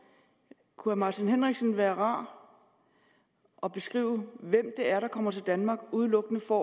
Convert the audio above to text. kunne herre martin henriksen være rar at beskrive hvem det er der kommer til danmark udelukkende for